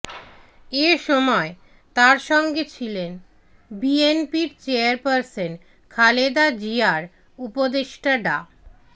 এসময় তার সঙ্গে ছিলেন বিএনপির চেয়ারপারসন খালেদা জিয়ার উপদেষ্টা ডা